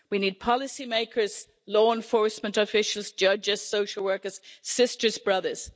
We need policymakers, law enforcement officials, judges, social workers, sisters, brothers.